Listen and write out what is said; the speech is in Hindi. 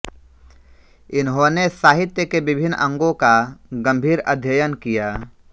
इन्होंने साहित्य के विभिन्न अंगों का गंभीर अध्ययन किया